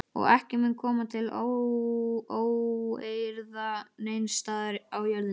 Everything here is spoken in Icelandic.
Og ekki mun koma til óeirða neins staðar á jörðinni.